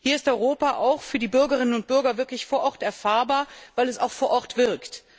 Hier ist Europa für die Bürgerinnen und Bürger wirklich vor Ort erfahrbar, weil es auch vor Ort wirkt.